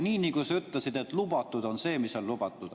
Nii nagu sa ütlesid, et lubatud on see, mis on lubatud.